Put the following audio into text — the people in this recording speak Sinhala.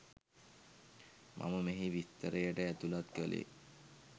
මම මෙහි විස්තරයට ඇතුලත් කළේ